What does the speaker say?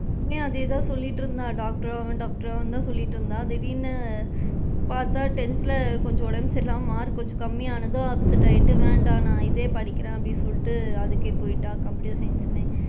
இங்கயும் அதே தான் சொல்லிட்டு இருந்தா doctor ஆவேன் doctor ஆவேன்னு தான் சொல்லிட்டு இருந்தா திடீர்ன்னு, பாத்தா tenth ல கொஞ்சம் உடம்பு சரி இல்லாம mark கொஞ்சம் கம்மி ஆனதும் upset ஆயிட்டு வேண்டாம் நான் இதே படிக்கிறேன் அப்படின்னு சொல்லிட்டு அதுக்கு போயிட்டா computer science ன்னு.